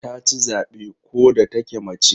Ta ci zabe ko da take mace.